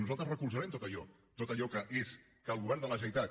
nosaltres recolzarem tot allò que és que el govern de la generalitat